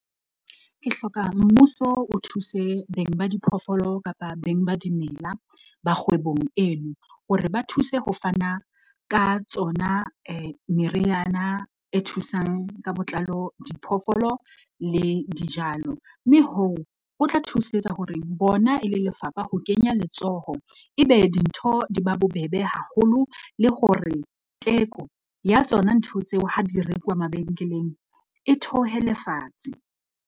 Ke hloka mmuso o thuse beng ba diphoofolo kapa beng ba dimela ba kgwebong eno, hore ba thuse ho fana ka tsona meriana e thusang ka botlalo, diphoofolo le dijalo, mme hoo ho tla thusetsa hore bona e le lefapha ho kenya letsoho, ebe dintho di ba bobebe haholo le hore teko ya tsona ntho tseo ha di rekuwa mabenkeleng e theohele fatshe.